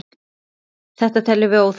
Þetta teljum við óþarft.